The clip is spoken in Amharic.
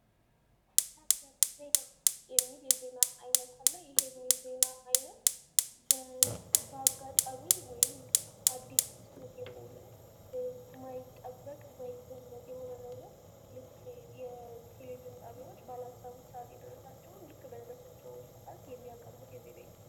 ሰበር ዜና የሚል ዜና አይነት አለ። ይህም የዜና አይነት በአጋጣሚ ወይም አዲስ ክስተት የሆነ የማይጠበቅ ዓይነት የሆነ ነገር ልክ የቴሌቪዥን ጣቢያዎች ባላሰቡት ሰዓት የደረሳቸውን ልክ በደረሳቸው ሰዓት የሚያቀርቡት የዜና ዓይነት ነው።